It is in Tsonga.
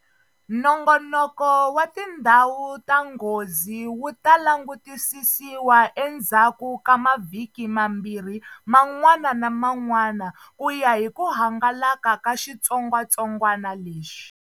Nongoloko wa tindhawu ta nghozi wu ta langutisisiwa endzhaku ka mavhiki mambirhi man'wana na man'wana ku ya hi ku hangalaka ka xitsongwatsongwana lexi.